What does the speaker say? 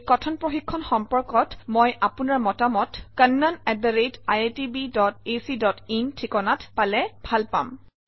এই কথন প্ৰশিক্ষণ সম্পৰ্কত মই আপোনাৰ পৰা মতামত kannaniitbacin ঠিকনাত পালে ভাল পাম